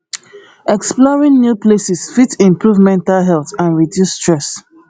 exploring new places fit improve mental health and reduce stress